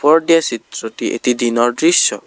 ওপৰত দিয়া চিত্ৰটি এটি দিনৰ দৃশ্য।